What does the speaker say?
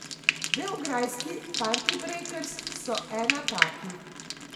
Beograjski Partibrejkers so ena takih.